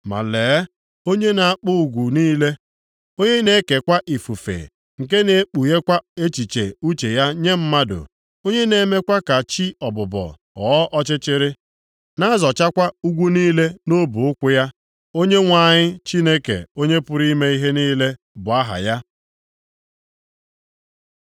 Ma lee, onye na-akpụ ugwu niile, onye na-ekekwa ifufe, nke na-ekpughekwa echiche uche ya nye mmadụ, onye na-emekwa ka chi ọbụbọ + 4:13 Ya bụ, ụtụtụ ghọọ ọchịchịrị, na-azọchakwa ugwu niile nʼọbụụkwụ ya, Onyenwe anyị Chineke Onye pụrụ ime ihe niile bụ aha ya.